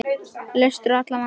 Leystur allra vandi.